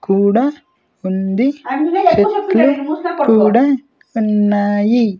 కూడా ఉంది చెట్లు కూడా ఉన్నాయి.